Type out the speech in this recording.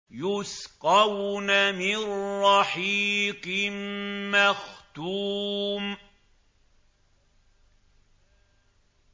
يُسْقَوْنَ مِن رَّحِيقٍ مَّخْتُومٍ